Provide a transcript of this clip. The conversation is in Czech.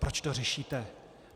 Proč to řešíte?